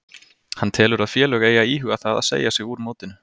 Hann telur að félög eigi að íhuga það að segja sig úr mótinu.